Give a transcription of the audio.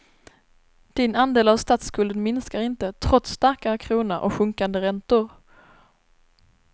Din andel av statsskulden minskar inte, trots starkare krona och sjunkande räntor.